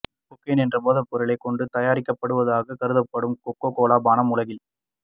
cocaine என்ற போதைப் பொருளைக் கொண்டு தயாரிக்கப்படுவதாகக் கருதப்படும் கொக்கோகோலா பானம் உலகின்